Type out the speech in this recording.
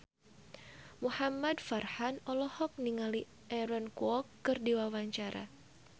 Muhamad Farhan olohok ningali Aaron Kwok keur diwawancara